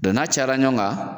Dɔnku n'a cayala ɲɔgɔn kan